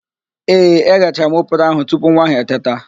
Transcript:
Ee, eghechara m oporo ahụ tupu nwa ahụ eteta